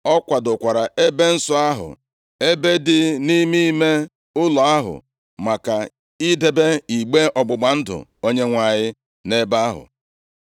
Ọ kwadokwara ebe nsọ ahụ, ebe dị nʼime ime ụlọ ahụ, maka idebe igbe ọgbụgba ndụ Onyenwe anyị nʼebe ahụ.